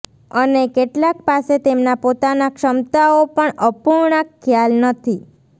અને કેટલાક પાસે તેમના પોતાના ક્ષમતાઓ પણ અપૂર્ણાંક ખ્યાલ નથી